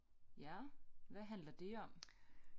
Ja hvad handler det om